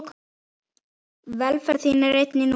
Velferð þín er einnig mín.